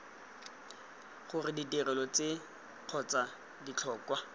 gore ditirelo tse kgotsa ditlhokwa